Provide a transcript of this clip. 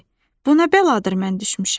Bu nə bəladır mən düşmüşəm!